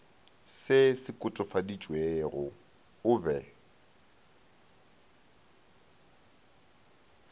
se se kotofaditšwego o be